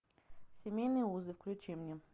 семейные узы включи мне